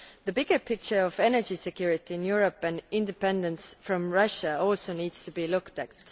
The bigger picture of energy security in Europe and independence from Russia also needs to be looked at.